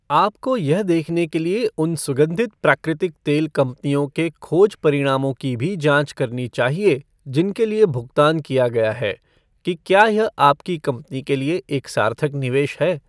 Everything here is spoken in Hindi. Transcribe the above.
आपको यह देखने के लिए उन सुगन्धित प्राकृतिक तेल कंपनियों के खोज परिणामों की भी जांच करनी चाहिए जिनके लिए भुगतान किया गया है, कि क्या यह आपकी कंपनी के लिए एक सार्थक निवेश है।